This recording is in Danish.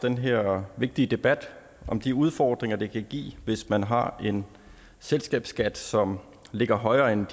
den her vigtige debat om de udfordringer det kan give hvis man har en selskabsskat som ligger højere end